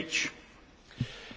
Panie Przewodniczący!